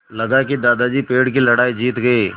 लगा कि दादाजी पेड़ की लड़ाई जीत गए